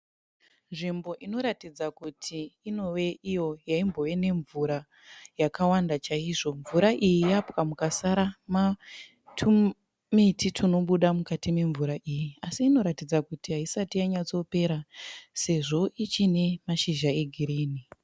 Nzvimbo inoratidza kuti inove iyo yaimbove nemvura yakawanda chaizvo. Mvura iyi yapwa mukasara tumiti tunobuda mukati memvura iyi asi inoratidza kuti haisati yanyatsopera sezvo ichine mashizha egirini.